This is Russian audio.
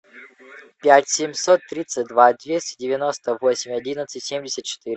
пять семьсот тридцать два двести девяносто восемь одиннадцать семьдесят четыре